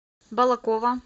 балаково